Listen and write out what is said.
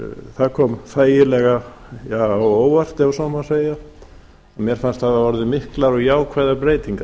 það kom þægilega á óvart ef svo má segja að mér fannst hafa orðið miklar og jákvæðar breytingar